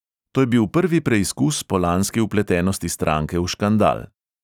To je bil prvi preizkus po lanski vpletenosti stranke v škandal.